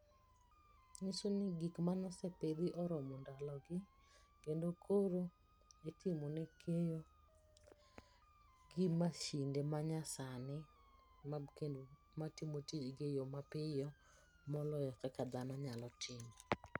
Manyiso ni gik mane opidhi oromo ndalogi kendo koro itimone keyo gi masinde manyasani matimo tijgi eyo mapiyo maloyo kaka dhano nyalo timo.